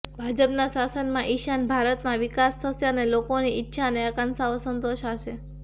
ભાજપના શાસનમાં ઇશાન ભારતમાં વિકાસ થશે અને લોકોની ઇચ્છા અને આકાંક્ષાઓ સંતોષાશે